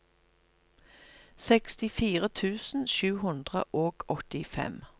sekstifire tusen sju hundre og åttifem